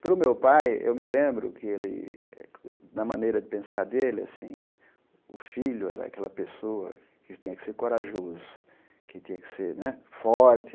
Para o meu pai, eu me lembro que ele, na maneira de pensar dele assim, o filho era aquela pessoa que tinha que ser corajoso, que tinha que ser né forte.